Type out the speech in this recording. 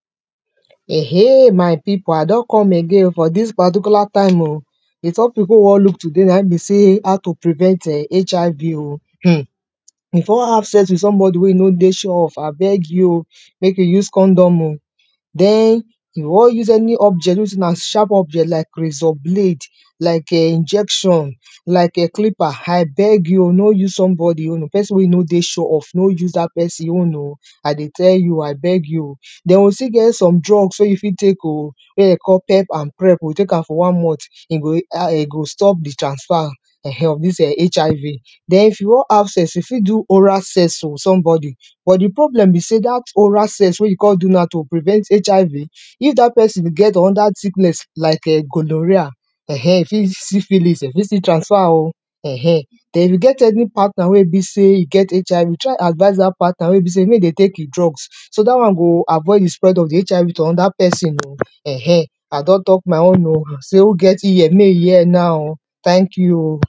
eh eh! my pipu I don come again for dis particular time oh, di topic wey we wan look na be sey how to prevent HIV oh, if you wan have sex with somebody wey you no dey sure of abegi oh make you use condom oh, den if you wan use any object wey be sey na sharp object like razor blade, like [urn] injection, like [urn] clipper I beg you oh no use somebody own, pesin wey you know dey sure of no use dat pesin own oh, I dey tell you I beg you oh. Den we still get some drugs wey you fit take oh, wey dey dey call pep and prep oh you go take am for one month e go stop di transfer of [urn] dis HIV, den if you wan have sex you fit do oral sex for somebody but di problem be sey dat oral sex wey you kon do now to prevent HIV if dat pesin get anoda sickness like gonorrhea, you fit see syphilis e fit still transfer oh [urn], den if you get any partner wey be sey e get HIV try advice dat partner wey be sey wey im dey take im drugs so dat one go avoid di spread of di HIV to anoda pesin oh [urn], I don talk my own oh dey say who get ear Mey im hear now oh, tank you oh.